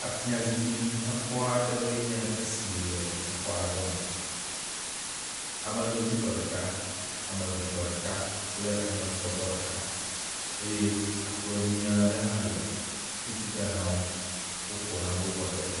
atia zikpi nyakpɔaɖewoe nye si le exɔ nyakpɔ ɖe me ame nodzi tɔ ɖeka ameve tɔ ɖeka kple ametɔ̃ tɔ ɖeka eye akplɔ nyuiaɖe hã le titina nawo wofɔ nanewo kɔ ɖedzi